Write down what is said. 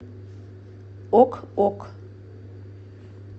ок ок